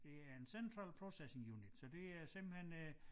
Det er en Central Processing Unit så det er simpelthen øh